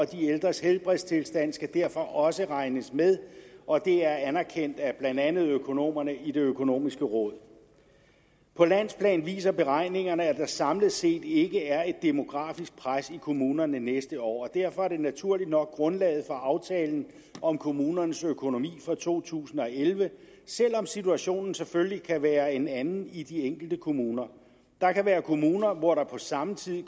de ældres helbredstilstand skal derfor også regnes med og det er anerkendt af blandt andet økonomerne i det økonomiske råd på landsplan viser beregningerne at der samlet set ikke er et demografisk pres i kommunerne næste år og derfor er det naturligt nok grundlaget for aftalen om kommunernes økonomi for to tusind og elleve selv om situationen selvfølgelig kan være en anden i de enkelte kommuner der kan være kommuner hvor der på samme tid